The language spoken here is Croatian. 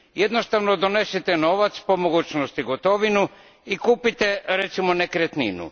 Jednostavno donesete novac, po mogućnosti gotovinu, i kupite recimo nekretninu.